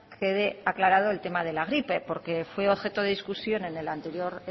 quede aclarado el tema de la gripe porque fue objeto de discusión en el anterior